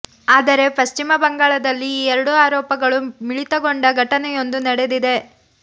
ಆದರೆ ಪಶ್ಚಿಮ ಬಂಗಾಳದಲ್ಲಿ ಈ ಎರಡೂ ಆರೋಪಗಳು ಮಿಳಿತಗೊಂಡ ಘಟನೆಯೊಂದು ನಡೆದಿದೆ